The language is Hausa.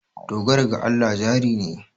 Dogara ga Allah jari ne.